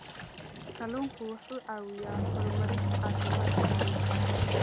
Kalluunku wuxuu caawiyaa horumarinta caafimaadka carruurta.